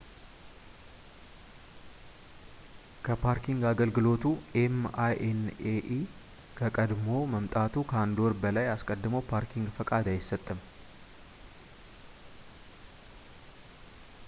ከፓርኪንግ አገልግሎቱ ኤም.አይ.ኤን.ኤ.ኢ ከቀድሞ መምጣቱ ከአንድ ወር በላይ አስቀድሞ ፓርኪንግ ፈቃድ አይሰጥም